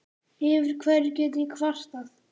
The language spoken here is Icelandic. Yfir hverju get ég kvartað?